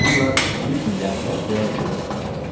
Bununla hüsnü-rəğbət və şöhrət qazanır.